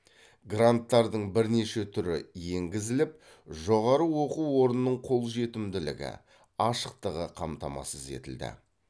гранттардың бірнеше түрі енгізіліп жоғары оқу орнының қолжетімділігі ашықтығы қамтамасыз етілді